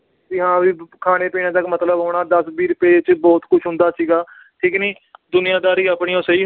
ਵੀ ਹਾਂ ਵੀ ਖਾਣੇ-ਪੀਣੇ ਤੱਕ ਮਤਲਬ ਹੋਣਾ। ਦਸ ਵੀਹ ਰੁਪਏ ਚ ਬਹੁਤ ਕੁਛ ਹੁੰਦਾ ਸੀਗਾ। ਠੀਕ ਨੀ। ਦੁਨੀਆਦਾਰੀ ਆਪਣੀ ਉਹ ਸਹੀ